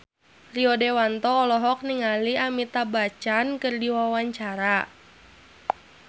Rio Dewanto olohok ningali Amitabh Bachchan keur diwawancara